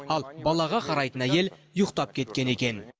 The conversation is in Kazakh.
ал балаға қарайтын әйел ұйықтап кеткен екен